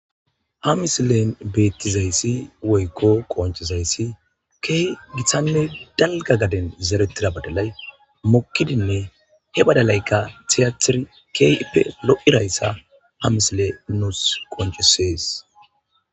Ha misilen beettizayssi woykko qonchizayssi kehi gitanne dalga gaden zerettida badalay mukkidinne he badalaykka tiyatiri keyippe lo7irayssa a misile nuus qonchisees